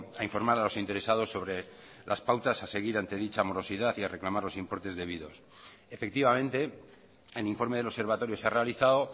a informar a los interesados sobre las pautas a seguir ante dicha morosidad y a reclamar los importes debidos efectivamente el informe del observatorio se ha realizado